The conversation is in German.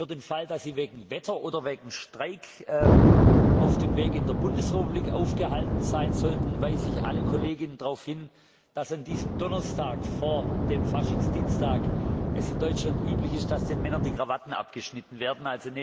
Für den Fall, dass Sie wegen Wetter oder wegen Streik auf dem Weg in der Bundesrepublik aufgehalten sein sollten, weise ich alle Kolleginnen und Kollegen darauf hin, dass es an diesem Donnerstag vor dem Faschingsdienstag in Deutschland üblich ist, dass den Männern die Krawatten abgeschnitten werden.